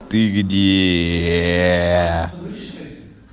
ты где